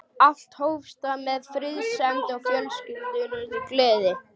Allt hófst það með friðsemd og fölskvalausri gleði.